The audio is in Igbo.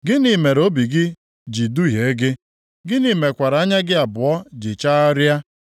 Gịnị mere obi gị ji duhie gị, gịnị mekwara anya gị abụọ ji chagharịa,